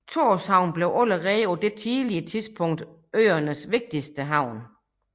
Tórshavn blev allerede på dette tidlige tidspunkt øernes vigtigste havn